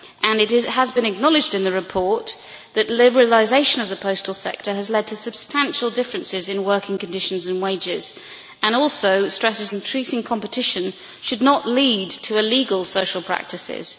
It has been acknowledged in the report that liberalisation of the postal sector has led to substantial differences in working conditions and wages and the report also stresses that increasing competition should not lead to illegal social practices.